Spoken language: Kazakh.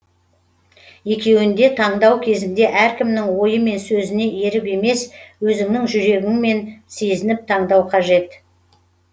екеуінде таңдау кезінде әркімнің ойы мен сөзіне еріп емес өзіңнің жүрегіңмен сезініп таңдау қажет